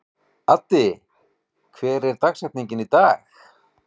Addi, hver er dagsetningin í dag?